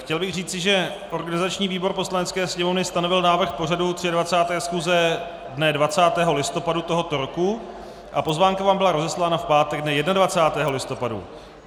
Chtěl bych říci, že organizační výbor Poslanecké sněmovny stanovil návrh pořadu 23. schůze dne 20. listopadu tohoto roku a pozvánka vám byla rozeslána v pátek dne 21. listopadu.